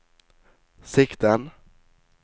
sikten